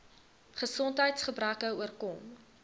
gesondheids gebreke oorkom